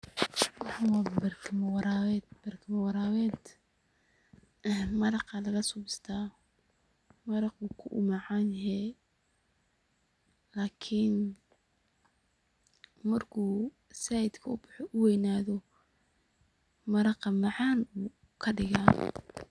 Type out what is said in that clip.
Waxan wa barking warabeet ee maraqa laga sobistaa, maraq oo kumacnyahay iklni marku saait u weynathoh maraqa macan ladigah.